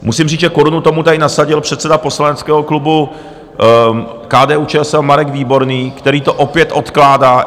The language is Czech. Musím říct, že korunu tomu tady nasadil předseda poslaneckého klubu KDU-ČSL Marek Výborný, který to opět odkládá.